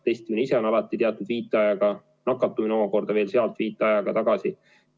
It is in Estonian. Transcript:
Testimine ise on alati teatud viitajaga, nakatumine omakorda veel sealt viitajaga tagasi.